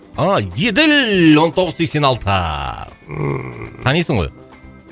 а еділ он тоғыз сексен алты ммм танисың ғой